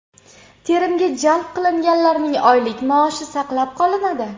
Terimga jalb qilinganlarning oylik maoshi saqlab qolinadi.